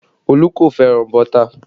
Olu kò fẹ́ràn bọ́tà